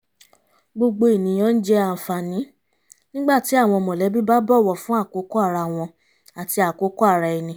gbogbo ènìyàn ń jẹ àǹfààní nígbà tí àwọn mọ̀lẹ́bí bá bọ̀wọ̀ fún àkókò ara wọn àti àkókò ara ẹni